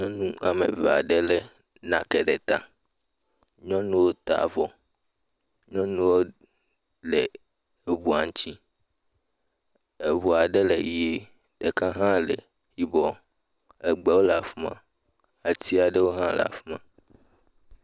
Nyɔnu am eve aɖe lé nake ɖe ta. Nyɔnuwo ta avɔ. Nyɔnuwo le eŋua ŋtsi. Eŋu aɖe le ʋie, ɖeka hã le yibɔ. Egbewo le afi ma. Ati aɖewo hã le afi ma.